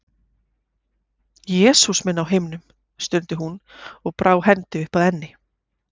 Jesús minn á himnum, stundi hún og brá hendi upp að enni.